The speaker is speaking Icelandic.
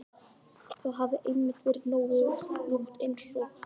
Það hafði einmitt verið nótt einsog núna.